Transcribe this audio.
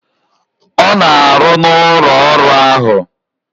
Ọ na-arụ n'arụ n'ụlọ ọrụ ahụ.